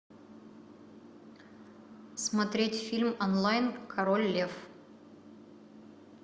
смотреть фильм онлайн король лев